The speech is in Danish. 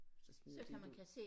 Så smider de det ud